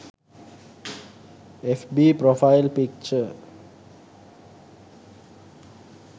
fb profile picture